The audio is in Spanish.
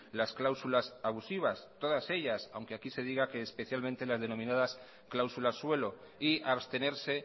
las cláusulas abusivas todas ellas aunque aquí se diga que especialmente las denominadas cláusulas suelo y abstenerse